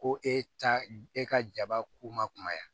Ko e ta e ka jaba k'u ma kumaya